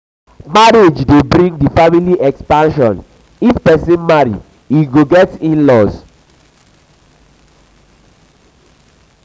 marriage de bring family expansion if persin marry im go get inlaws